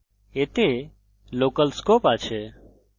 এতে local scope আছে